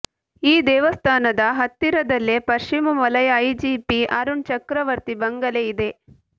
ಈ ದೇವಸ್ಥಾನದ ಹತ್ತಿರದಲ್ಲೇ ಪಶ್ಚಿಮ ವಲಯ ಐಜಿಪಿ ಅರುಣ್ ಚಕ್ರವರ್ತಿ ಬಂಗಲೆ ಇದೆ